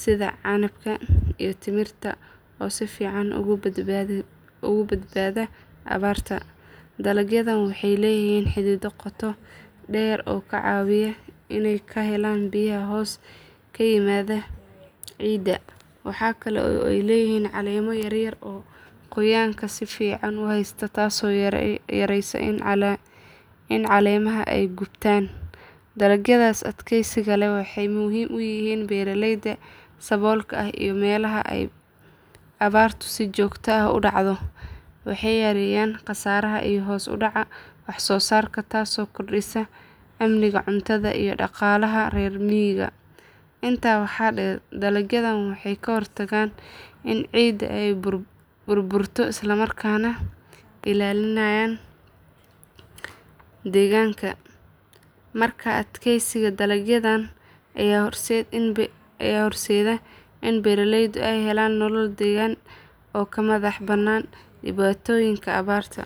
sida canabka iyo timirta oo si fiican uga badbaada abaarta. Dalagyadan waxay leeyihiin xididdo qoto dheer oo ka caawiya inay ka helaan biyaha hoos yimaada ciidda. Waxa kale oo ay leeyihiin caleemo yaryar oo qoyaanka si fiican u haysta taasoo yareysa in caleemaha ay gubtaan. Dalagyadaas adkeysiga leh waxay muhiim u yihiin beeralayda saboolka ah iyo meelaha ay abaartu si joogto ah u dhacdo. Waxay yareeyaan khasaaraha iyo hoos u dhaca wax soo saarka taasoo kordhisa amniga cuntada iyo dhaqaalaha reer miyiga. Intaa waxaa dheer dalagyadan waxay ka hortagaan in ciidda ay burburto isla markaana ilaalinayaan deegaanka. Markaa adkeysiga dalagyadan ayaa horseeda in beeralaydu ay helaan nolol deggan oo ka madax bannaan dhibaatooyinka abaarta.